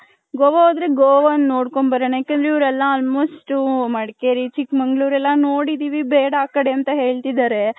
ಗೋವ ಹೋದ್ರೆ ಗೋವ ಒಂದ್ ನೋಡ್ಕೊಂಡ್ ಬರಣ ಯಾಕಂದ್ರೆ ಇವೆರೆಲ್ಲ almost ಮಡಕೇರಿ ಚಿಕ್ ಮಂಗಳೂರ್ ಎಲ್ಲಾ ನೋಡಿದಿವಿ ಬೇಡ ಹ ಕಡೆ ಅಂತ ಹೇಳ್ತಿದಾರೆ .